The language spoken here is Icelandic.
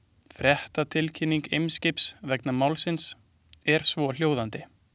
Fréttatilkynning Eimskips vegna málsins er svohljóðandi.